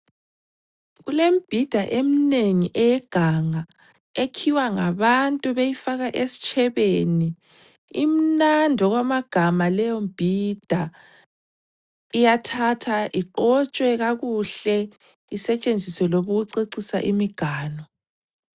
Kulembhida emnengi eyeganga ekhiwa ngabantu beyifaka esitshebeni, imnandi okwamagama leyombhida iyathathwa iqotshwe kakuhle isetshenziswe noma ukucecisa imiganu.